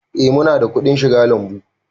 Eh mu na da kuɗin shiga lambu